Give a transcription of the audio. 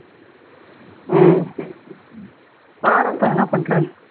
உம் பார் அக்கா என்ன பண்றேன்னு